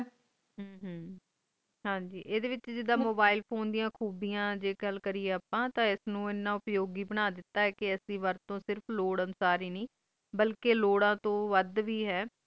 ਹਮ ਹਨ ਗ ਐਡੇ ਵਿਚ ਅਗਰ ਆਪਾਂ mobile phone ਦੀਆਂ ਖ਼ੂਬੀਆਂ ਜੇ ਗੱਲ ਕਰੀਏ ਆਪਾਂ ਤੇ ਐਨੋ ਇੰਨਾ ਉਪਯੌਗਿ ਬਣਾ ਦਿੱਤੋ ਐਨੋ ਸਿਰਫ ਐਸੀ ਵਰਤ ਤੋਂ ਸਿਰਫ ਲੋੜਾਂ ਸਾਰੀ ਨੇ ਬਲਕਿ ਲੋੜਾਂ ਤੋਂ ਵੁਡ ਵੇ ਆਏ